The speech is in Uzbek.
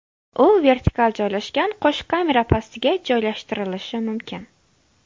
U vertikal joylashgan qo‘sh kamera pastiga joylashtirilishi mumkin.